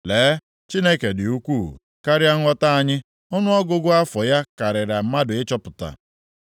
Lee, Chineke dị ukwuu, karịa nghọta anyị. Ọnụọgụgụ afọ ya karịrị mmadụ ịchọpụta.